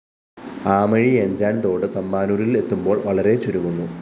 ആമയിഴഞ്ചാന്‍ തോട് തമ്പാനൂരില്‍ എത്തുമ്പോള്‍ വളരെ ചുരുങ്ങുന്നു